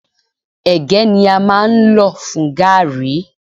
Ègé ní a máa ń lọ̀ fún gààrí.